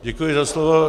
Děkuji za slovo.